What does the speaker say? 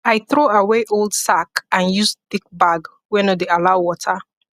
i throw away old sack and use thick bag wey no dey allow water